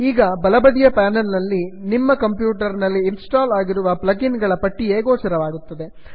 ಈಗ ಬಲಬದಿಯ ಪ್ಯಾನಲ್ ನಲ್ಲಿ ನೀಮ್ಮ ಕಂಪ್ಯೂಟರ್ ನಲ್ಲಿ ಇನ್ಸ್ಟಾಲ್ ಆಗಿರುವ ಪ್ಲಗ್ ಇನ್ ಗಳ ಪಟ್ಟಿಯೇ ಗೋಚರವಾಗುತ್ತದೆ